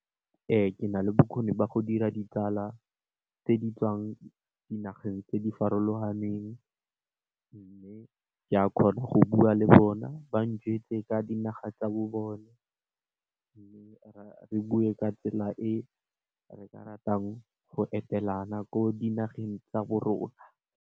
Ee ke na le bokgoni ba go dira ditsala tse di tswang dinageng tse di farologaneng mme, ke a kgona go bua le bona ba ka dinaga tsa bone mme, re bue ka tsela e re ka ratang go etelana ko dinageng tsa rona.